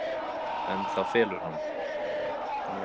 En það felur hana.